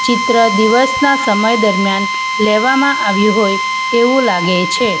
ચિત્ર દિવસના સમય દરમિયાન લેવામાં આવ્યું હોય તેવું લાગે છે.